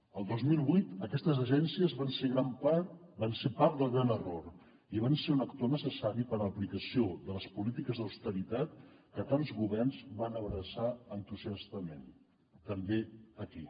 el dos mil vuit aquestes agències van ser part del gran error i van ser un actor necessari per a l’aplicació de les polítiques d’austeritat que tants governs van abraçar entusiastament també aquí